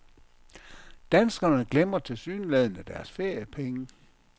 Danskerne glemmer tilsyneladende deres feriepenge.